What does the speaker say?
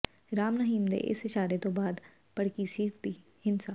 ਰਾਮ ਰਹੀਮ ਦੇ ਇਸ ਇਸ਼ਾਰੇ ਤੋਂ ਬਾਅਦ ਭੜਕੀਸੀ ਸੀ ਹਿੰਸਾ